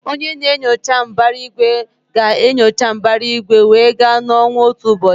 Onye na-enyocha mbara igwe ga-enyocha mbara igwe wee gaa na ọnwa otu ụbọchị.